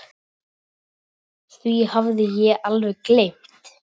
Því hafði ég alveg gleymt.